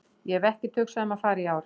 Ég hef ekkert hugsað um að fara í ár.